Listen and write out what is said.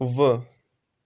в